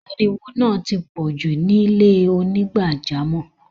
Áríwọ náà ti pọ̀ ju ni ilẹ̀-onígbàjàmọ́.